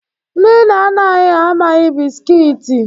Ndị nna nna anyị ha amaghị bisikiiti.